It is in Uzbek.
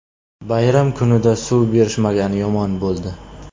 Bayram kunida suv berishmagani yomon bo‘ldi.